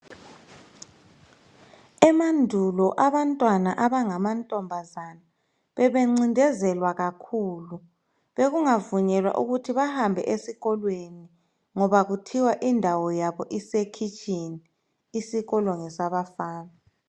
Emandulo abantwana abangamantombazana bebencindezelwa kakhulu. Bekungavunyelwa ukuthi behambe esikolweni. Bekuthiwa indawo yabo isekhitshini, isikolo ngesabafana.